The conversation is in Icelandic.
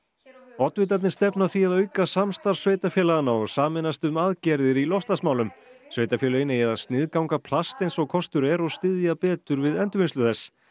oddvitarnir stefna að því að auka samstarf sveitarfélaganna og sameinast um aðgerðir í loftslagsmálum sveitarfélögin eigi að sniðganga plast eins og kostur er og styðja betur við endurvinnslu þess